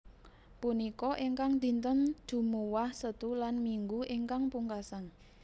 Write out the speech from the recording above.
Punika ingkang dinten Jumuwah Setu lan Minggu ingkang pungkasan